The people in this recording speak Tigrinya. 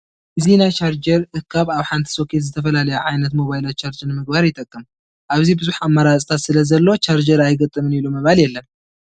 እዚ ናይ ቻርጀር እካብ ኣብ ሓንቲ ሶኬት ዝተፈላለያ ዓይነት ሞባይላት ቻርጅ ንምግባር ይጠቅም፡፡ ኣብዚ ብዙሕ ኣማራፂታት ስለዘሎ ቻርጀር ኣይገጥምን ኢሉን ምባል የለን፡፡